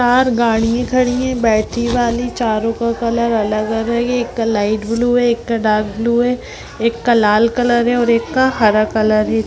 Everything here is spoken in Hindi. चार गाड़ियाँ खड़ी हैं बैटरी वाली चारों का कलर अलग एक लाइट ब्लू है एक का डार्क ब्लू है एक का लाल कलर है और एक का हरा कलर है।